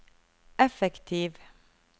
effektiv